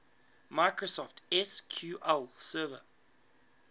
microsoft sql server